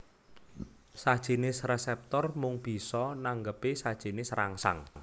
Sajinis reseptor mung bisa nanggepi sajinis rangsang